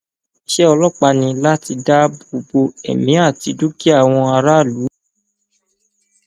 iṣẹ ọlọpàá ni láti dáàbò bo ẹmí àti dúkìá àwọn aráàlú